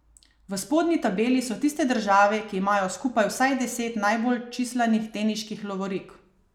V spodnji tabeli so tiste države, ki imajo skupaj vsaj deset najbolj čislanih teniških lovorik.